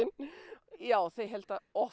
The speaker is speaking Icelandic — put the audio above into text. já þau halda oft